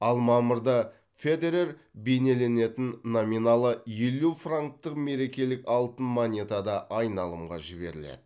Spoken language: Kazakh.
ал мамырда федерер бейнеленетін номиналы елу франктық мерекелік алтын монета да айналымға жіберіледі